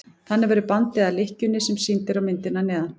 þannig verður bandið að lykkjunni sem sýnd er á myndinni að neðan